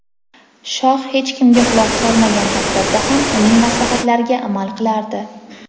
Shoh hech kimga quloq solmagan taqdirda ham uning maslahatlariga amal qilardi.